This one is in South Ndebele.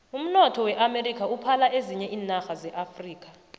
umnotho weamerika uphala ezinye iinarha zeafrika